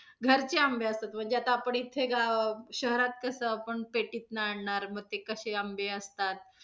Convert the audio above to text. घरचे आंबे असतात, म्हणजे आता आपण इथे गावात अं शहरात कसं आपण पेटीतनं आणणार मग ते कसे आंबे असतात.